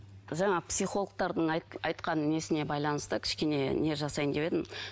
жаңағы психологтардың айтқан несіне байланысты кішкене не жасайын деп едім